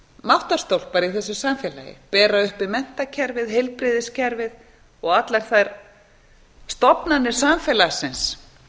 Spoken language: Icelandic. máttarstólpar í þessu samfélagi bera uppi menntakerfið heilbrigðiskerfið og allar þær stofnanir samfélagsins